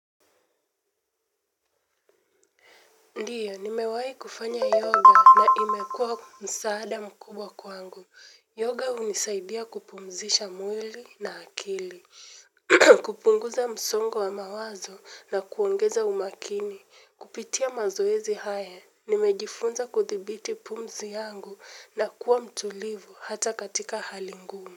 Ndiyo, nimewahi kufanya yoga na imekuwa msaada mkubwa kwangu. Yoga hunisaidia kupumzisha mwili na akili. Kupunguza msongo wa mawazo na kuongeza umakini. Kupitia mazoezi haya, nimejifunza kuthibiti pumzi yangu na kuwa mtulivu hata katika hali ngumu.